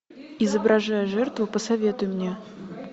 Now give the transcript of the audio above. изображая жертву посоветуй мне